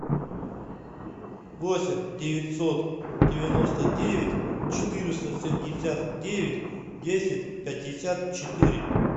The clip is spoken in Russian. восемь девятьсот девяносто девять четыреста семьдесят девять десять пятьдесят четыре